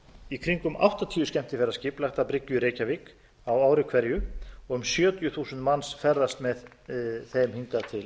í kringum áttatíu skemmtiferðaskip lag t að bryggju í reykjavík á ári hverju og um sjötíu þúsund manns ferðast með þeim hingað til